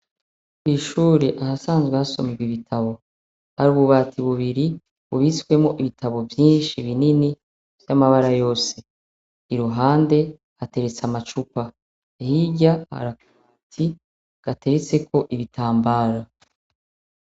Kw'ishure, ahasanzwe hasomerwa ibitabu, hari ububati bubiri, bubitswemwo ibitabu vyinshi, binini, vy'amabara yose. Iruhande, hateretse amacupa. Hirya hari akabati gateretseko ibitambaro.